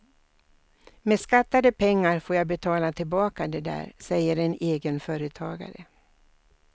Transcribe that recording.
Med skattade pengar får jag betala tillbaka det där, säger en egenföretagare.